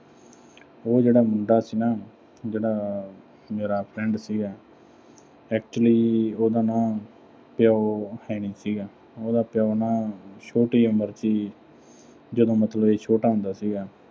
ਉਹ ਜਿਹੜਾ ਮੁੰਡਾ ਸੀ ਨਾ, ਜਿਹੜਾ ਮੇਰਾ friend ਸੀਗਾ, actually ਉਹਦਾ ਨਾ ਪਿਓ ਹੈਨੀ ਸੀਗਾ। ਉਹਦਾ ਪਿਓ ਨਾ ਅਹ ਛੋਟੀ ਉਮਰ ਚ ਹੀ, ਜਦੋਂ ਮਤਲਬ ਵੀ ਇਹ ਛੋਟਾ ਹੁੰਦਾ ਸੀਗਾ।